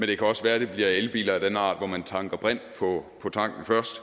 det kan også være at det bliver elbiler af den art hvor man tanker brint på tanken først